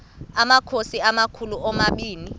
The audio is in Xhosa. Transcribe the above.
amakhosi amakhulu omabini